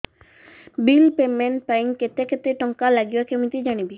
bill payment ପାଇଁ କେତେ କେତେ ଟଙ୍କା ଲାଗିବ କେମିତି ଜାଣିବି